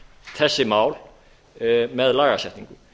þessi mál með lagasetningu